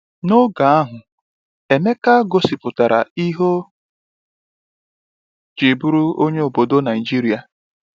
N’oge ahụ, Emeka gosipụtara ihe ọ jị bụrụ onye obodo Naijiria.